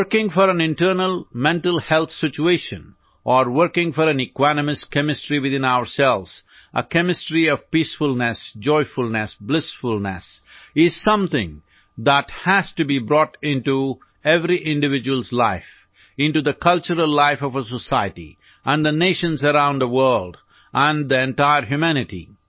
working for on internal mental health situation or working for on equanimous chemistry within ourselves a chemistry of peacefulness joyfulness blissfulness is something that has to be brought into every individualଏସ୍ life into the cultural life of a society and the nations around the world and the entire humanity